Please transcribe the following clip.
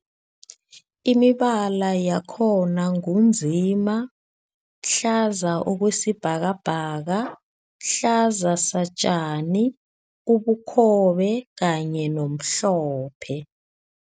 Imibala yakhona ngu nzima, hlaza okwesibhakabhaka, hlaza satjani, ubukhobe kanye nomhlophe.